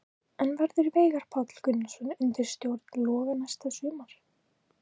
En verður Veigar Páll Gunnarsson undir stjórn Loga næsta sumar?